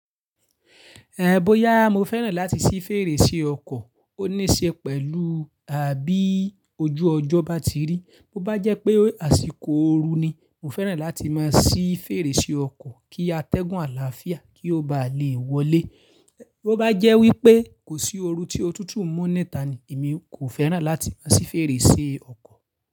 Ehn, bóyá mo fẹ́ràn láti sí fèrèsé ọkọ̀, ó ní ṣe pẹ̀lú, à bí ojú ọjọ́ bá ti rí. Bo bá jẹ́ pé àsìkò ooru ni, mo fẹ́ràn láti máa sí fèrèsé ọkọ̀ kí atẹ́gùn àlàáfíà kí ó bá lè wọlé. Bo bá jẹ́ wípé kò sí ooru tí ó tútù mú níta ni, èmi kò fẹ́ràn láti máa sí fèrèsé ọkọ̀